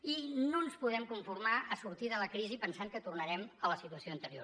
i no ens podem conformar a sortir de la crisi pensant que tornarem a la situació anterior